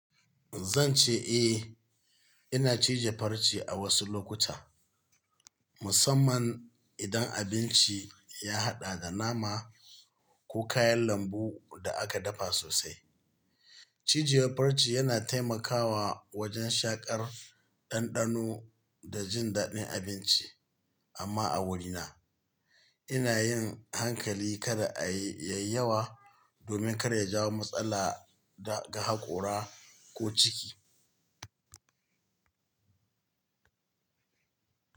Zan ce eh, ina cije farce a wasu lokuta, musamman idan abinci ya haɗa da nama, ko kayan lambu da aka dafa sosai. Cijewar farce yana taimakawa wajen shaƙar ɗanɗano, da jin daɗin abinci, amma a wurina, ina yin hankali kada a yi, yayi yawa domin kar ya jawo matsala ga haƙora ko ciki.